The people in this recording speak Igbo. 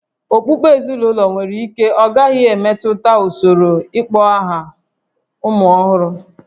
Okpukpe ezinụlọ nwere ike ọ gaghị emetụta usoro ịkpọ aha ụmụ ọhụrụ